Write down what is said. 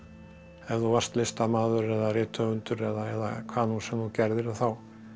ef þú varst listamaður eða rithöfundur eða hvað nú sem þú gerðir að þá